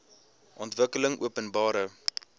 ontwikkelingopenbare